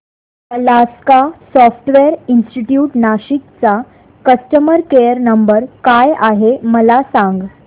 Alaska software institute Nashik चा customer care number काय आहे मला सांग